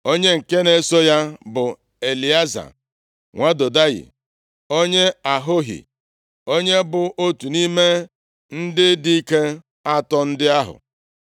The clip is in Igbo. Onye nke na-eso ya bụ Elieza nwa Dodayi, onye Ahohi, onye bụ otu nʼime ndị dike atọ ndị ahụ.